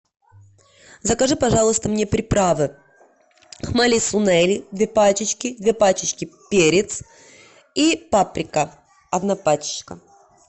закажи пожалуйста мне приправы хмели сунели две пачечки две пачечки перец и паприка одна пачечка